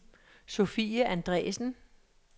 Sofie Andresen